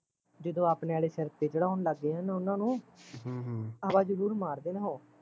ਜਦੋਂ ਆਪਣੇ ਆਲੇ ਸਿਰ ਤੇ ਚੜਾਉਣ ਲੱਗ ਜਾਣ ਉਹਨਾਂ ਨੂੰ ਹਮ ਹਮ ਹਵਾ ਜਰੂਰ ਮਾਰਦੇ ਨੇ ਉਹ